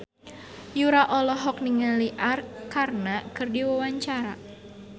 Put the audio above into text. Yura olohok ningali Arkarna keur diwawancara